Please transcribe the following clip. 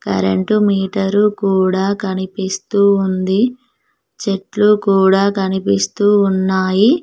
Current meter కూడా కనిపిస్తూ ఉంది చెట్లు కూడా కనిపిస్తూ ఉన్నాయి.